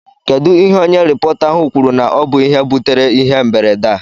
Kedụ ihe onye rịpọta ahụ kwuru na ọ bụ ihe butere ịhe mberede a?